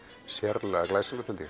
sérlega glæsilegt held ég